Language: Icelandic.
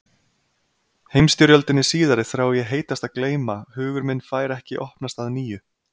Heimsstyrjöldinni síðari þrái ég heitast að gleyma hugur minn fær ekki opnast að nýju.